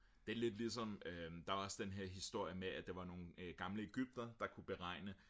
det er lidt ligesom der var også den her historie med at der var nogle gamle egyptere der kunne beregne